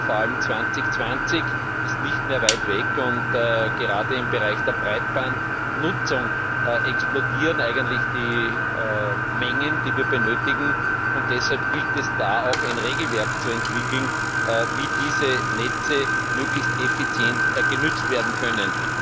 2020 ist ja nicht mehr weit weg. Gerade im Bereich der Breitbandnutzung explodieren die Mengen, die wir benötigen, und deshalb gilt es da auch, ein Regelwerk zu entwickeln, wie diese Netze möglichst effizient genützt werden können.